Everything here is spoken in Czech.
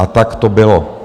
A tak to bylo.